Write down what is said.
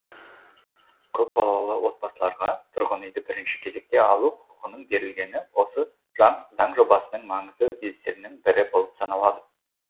көпбалалы отбасыларға тұрғын үйді бірінші кезекте алу құқығының берілгені осы заң жобасының маңызды өзгерістерінің бірі болып саналады